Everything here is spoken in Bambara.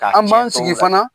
an b'an sigi fana